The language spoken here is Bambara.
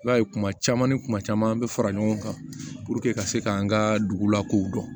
I b'a ye kuma caman ni kuma caman an bɛ fara ɲɔgɔn kan ka se ka an ka dugulakow dɔn